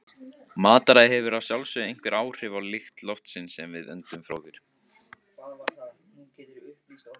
Mataræði hefur að sjálfsögðu einhver áhrif á lykt loftsins sem við öndum frá okkur.